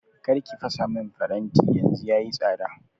kar ki fasa min faranti yanzu yayi tsada